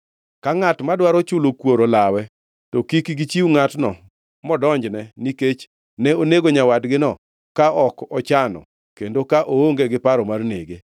Ka ngʼat madwaro chulo kuor olawe, to kik gichiw ngʼatno modonjne, nikech ne onego nyawadgino ka ok ochano kendo ka oonge gi paro mar nege.